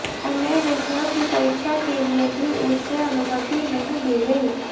अन्य विषयों की परीक्षा के लिए भी उसे अनुमति नहीं दी गयी